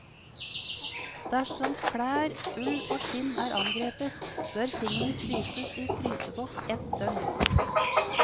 Dersom klær, ull og skinn er angrepet, bør tingene fryses i fryseboks ett døgn.